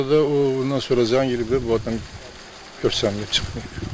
Sonra da o, ondan sonra zəng eləyiblər bu adam görsənməyib.